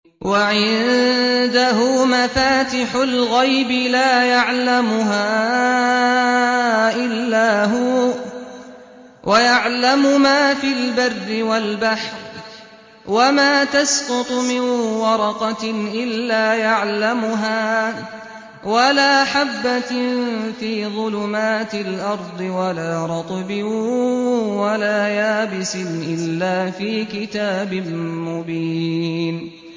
۞ وَعِندَهُ مَفَاتِحُ الْغَيْبِ لَا يَعْلَمُهَا إِلَّا هُوَ ۚ وَيَعْلَمُ مَا فِي الْبَرِّ وَالْبَحْرِ ۚ وَمَا تَسْقُطُ مِن وَرَقَةٍ إِلَّا يَعْلَمُهَا وَلَا حَبَّةٍ فِي ظُلُمَاتِ الْأَرْضِ وَلَا رَطْبٍ وَلَا يَابِسٍ إِلَّا فِي كِتَابٍ مُّبِينٍ